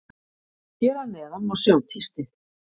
Hér að neðan má sjá tístið.